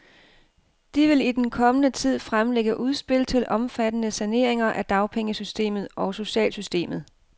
De vil i den kommende tid fremlægge udspil til omfattende saneringer af dagpengesystemet og socialsystemet.